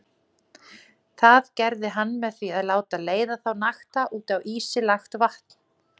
Það gerði hann með því að láta leiða þá nakta út á ísi lagt vatn.